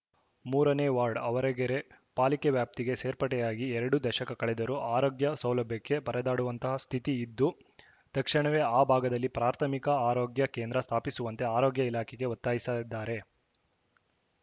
ಮೂರನೇ ವಾರ್ಡ್‌ ಆವರಗೆರೆ ಪಾಲಿಕೆ ವ್ಯಾಪ್ತಿಗೆ ಸೇರ್ಪಡೆಯಾಗಿ ಎರಡು ದಶಕ ಕಳೆದರೂ ಆರೋಗ್ಯ ಸೌಲಭ್ಯಕ್ಕೆ ಪರದಾಡುವಂತಹ ಸ್ಥಿತಿ ಇದ್ದು ತಕ್ಷಣವೇ ಆ ಭಾಗದಲ್ಲಿ ಪ್ರಾಥಮಿಕ ಆರೋಗ್ಯ ಕೇಂದ್ರ ಸ್ಥಾಪಿಸುವಂತೆ ಆರೋಗ್ಯ ಇಲಾಖೆಗೆ ಒತ್ತಾಯಿಸದ್ದಾರೆ